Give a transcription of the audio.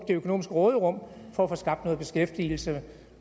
økonomiske råderum for at få skabt noget beskæftigelse